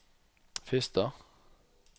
Fister